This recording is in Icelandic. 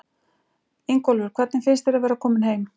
Ingólfur: Hvernig finnst þér að vera kominn heim?